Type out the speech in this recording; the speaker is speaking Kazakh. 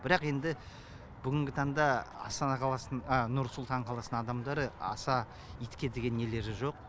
бірақ енді бүгінгі таңда астана қаласының нұрсұлтан қаласының адамдары аса итке деген нелері жоқ